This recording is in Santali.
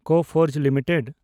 ᱠᱚᱯᱷᱚᱨᱡᱽ ᱞᱤᱢᱤᱴᱮᱰ